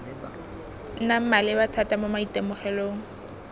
nnang maleba thata mo maitemogelong